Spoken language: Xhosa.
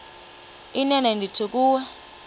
inene ndithi kuwe